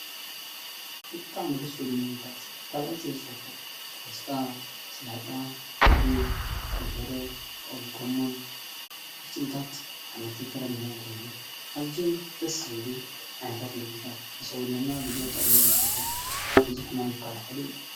ብጥዕ መደሱ ልምሙልታት ካብእዝ የዝፈቶ ክወስጣ ሠለህጣ ጕዕ ክምደረ ተኦም ጎሞን ዉሥጢሪታት ኣሓመልትንተረምረ ጐይኖን ኣዝዙይም ፍደስ ዝብሉ ዓይታት ምግሩታት እሠውነና ብዙኅ ጠቕሜ ዘለዎም ካብብዙኅ ማም ዝካልኸሉ እዩ።